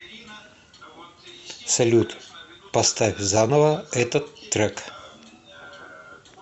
салют поставь заново этот трек